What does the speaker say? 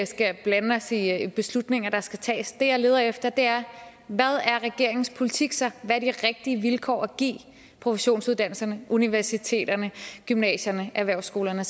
skal blande os i i beslutninger der skal tages det jeg leder efter er hvad er regeringens politik så hvad er de rigtige vilkår at give professionsuddannelserne universiteterne gymnasierne erhvervsskolerne